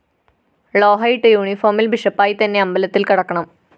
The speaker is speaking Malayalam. ളോഹയിട്ട് യൂണിഫോമില്‍ ബിഷപ്പായിത്തന്നെ അമ്പലത്തില്‍ കടക്കണം